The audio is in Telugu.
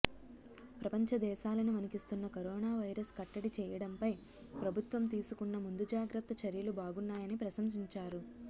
ప్రపంచ దేశాలను వణికిస్తున్న కరోనావైరస్ కట్టడి చేయడంపై ప్రభుత్వం తీసుకున్న ముందు జాగ్రత్త చర్యలు బాగున్నాయని ప్రశంసించారు